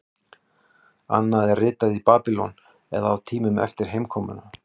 Annað er ritað í Babýlon eða á tímanum eftir heimkomuna.